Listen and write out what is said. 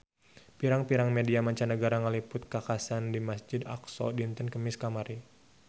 Pirang-pirang media mancanagara ngaliput kakhasan di Masjid Aqsa dinten Kemis kamari